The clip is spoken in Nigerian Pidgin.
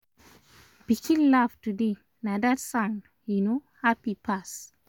pikin laugh today na dat sound um happy pass